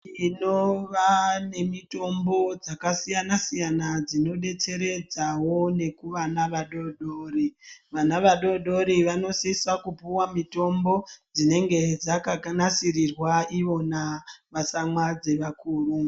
Tinova nemitombo dzakasiyana siyana dzinobetseredzawo nekuvana vadoodori, vana vadoodori vanosisa kupuwa mitombo dzinenge dakanasirirwa ivona vasamwa dzevakuru.